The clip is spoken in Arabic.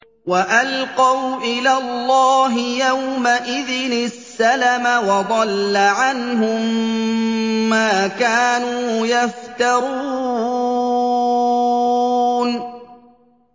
وَأَلْقَوْا إِلَى اللَّهِ يَوْمَئِذٍ السَّلَمَ ۖ وَضَلَّ عَنْهُم مَّا كَانُوا يَفْتَرُونَ